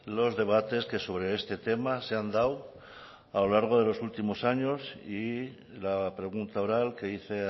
los debates sobre este tema se han dado a lo largo de estos últimos años y la pregunta oral que hice